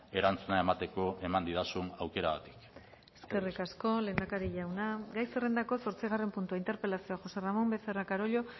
erantzuna emateko eman didazun aukeragatik eskerrik asko lehendakari jauna gai zerrendako zortzigarren puntua interpelazioa josé ramón becerra carollo